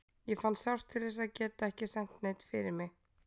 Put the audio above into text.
Ég fann sárt til þess að geta ekki sent neinn fyrir mig.